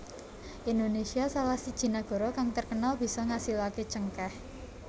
Indonesia salah siji nagara kang terkenal bisa ngasilaké cengkèh